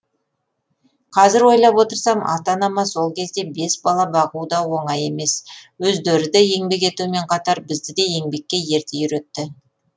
қазір ойлап отырсам ата анама сол кезде бес бала бағу да оңай емес өздері де еңбек етумен қатар бізді де еңбекке ерте үйретті